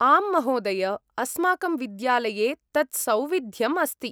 आम्, महोदय! अस्माकं विद्यालये तत् सौविध्यम् अस्ति।